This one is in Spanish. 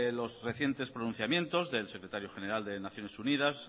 los recientes pronunciamientos del secretario general de naciones unidas